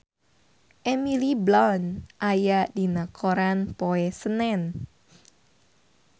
Emily Blunt aya dina koran poe Senen